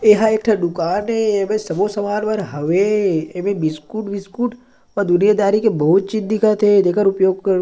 एहा एक ठ दुकान ए एमे सबो समान मन हवे एमे बिस्कुट विस्कूट दुनिया दारी के बहुत चीज दिखत हे जेकर उपयोग --